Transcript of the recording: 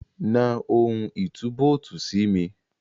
Na ohun ìtúbóòtì sí mi.